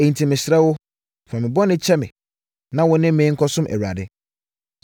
Enti, mesrɛ wo, fa me bɔne kyɛ me na wo ne me nkɔsom Awurade.”